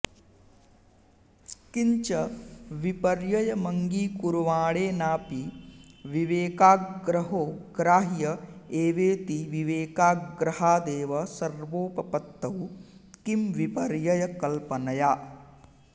किञ्च विपर्ययमङ्गीकुर्वाणेनाऽपि विवेकाग्रहो ग्राह्य एवेति विवेकाग्रहादेव सर्वोपपत्तौ किं विपर्ययकल्पनया